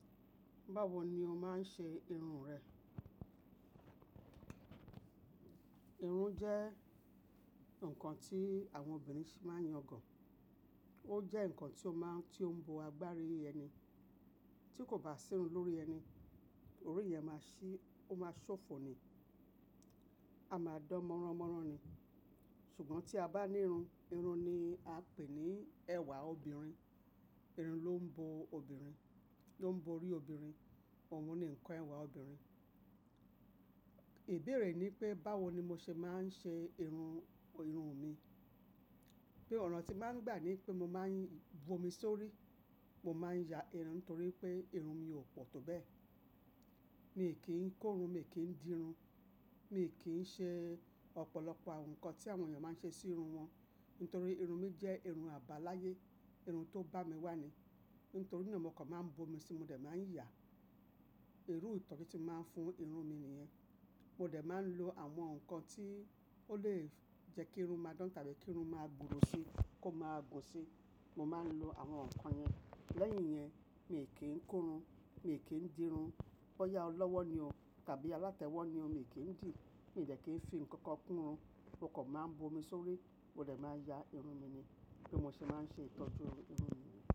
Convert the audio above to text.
Báwo ni o máa ń ṣe irun rẹ? Irun jẹ́ nǹkan tí àwọn obìnrin fi máa ń yangan. Ó jẹ́ ǹkan tí ó máa ń, tí ó ń bo agbárí ẹni. Tí kò bá sí irun lórí ẹni, orí yẹ̀n máa ṣí, ó máa ṣófo ni, a máa dán mọ́ranmọ́ran ni. Ṣùgbọ́n tí a bá ní irun, irun ni a pè ní ẹwà obìnrin. Irun ló ń bo obìnrin, ló ń bo orí obìnrin. Òun ni ǹkan ẹwà obìnrin. Ìbéèrè ni pé báwo ni mo ṣe máa ń ṣe irun, irun mi. Bí ọ̀ràn tí màá ń gbà ní pé mo máa ń bu omi sórí, mo máa ń ya irun torí pé irun mi ò pọ̀ tó bẹ́ẹ̀. Mi i kí ń ko irun, mi ò kí ń dì irun. Mi ò kí ń ṣe ọ̀pọ̀lọpọ̀ àwọn ǹkan tí àwọn ènìyàn máa ń ṣe sí irun wọn. Nítorí irun mi jẹ́ irun àbáláyé, irun tó bá mi wà ni. Nítorí na mokan máa ń bu omi sí i, mo dẹ̀ máa ń yà. Iru ìtọ́jú tí máa ń fún irun mi nìyẹn. Mo dẹ̀ máa ń lo àwọn ǹkan tí ó lè jẹ́ kí irun máa dán tàbí kí irun máa gbòòrò sí, kó máa gùn sí. Mo máa ń lo àwọn ǹkan yẹn. Lẹ́yìn yẹn, mi ò kí ń kún irun, mi ò kí ń dì irun. Bọ́yá ọlọ́wọ́ ni o tàbí alátẹ́wọ́ ni o, mi ò kí ń dì. Mi de kií ń fi ǹkankan kún irun. Mokan máa ń bu omi sórí, mó dè máa ya irun mi ni. Bí mo ṣe máa ń ṣe ìtọ́jú irun mi niyen.